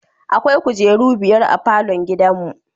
Akwai kujeru biyar a falon gidanmu.